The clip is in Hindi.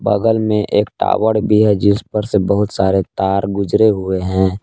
बगल में एक टावर भी है जिस पर से बहुत सारे तार गुजरे हुए हैं।